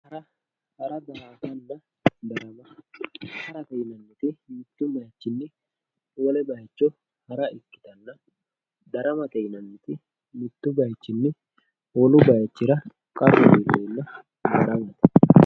hara daa"atanna darama harate yineemmoti mitto bayiicho hara ikkitanna daramate yinanniti mittu bayiichinni wolu bayiichira qarru iilleenna daramate